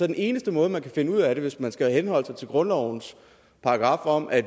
den eneste måde man kan finde ud af det på hvis man skal henholde sig til grundlovens paragraf om at